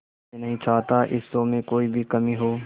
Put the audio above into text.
मैं नहीं चाहता इस शो में कोई भी कमी हो